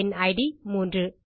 என் இட் 3